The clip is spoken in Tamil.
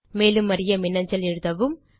மேலும் அறிய மின்னஞ்சல் எழுதவும்